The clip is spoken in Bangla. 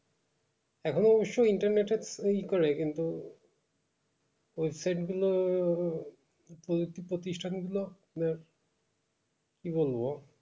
এখন অবশ্য internet এর ওই করে কিন্তু website গুলো পদতো~প্রতিষ্টান গুলো আহ কি বলবো